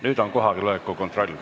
Nüüd on kohaloleku kontroll.